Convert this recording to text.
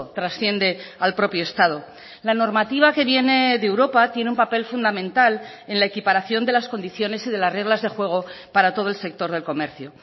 trasciende al propio estado la normativa que viene de europa tiene un papel fundamental en la equiparación de las condiciones y de las reglas de juego para todo el sector del comercio